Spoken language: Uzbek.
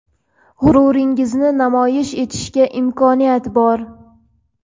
g‘ururlaringizni namoyish etishga imkoniyat bor.